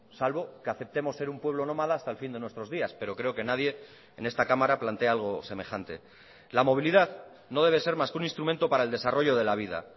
salvo que aceptemos ser un pueblo nómada hasta el fin de nuestros días pero creo que nadie en esta cámara plantea algo semejante la movilidad no debe ser más que un instrumento para el desarrollo de la vida